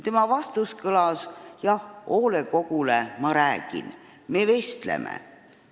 Tema vastus kõlas, et jah, hoolekoguga ta muidugi räägib, nad vestlevad.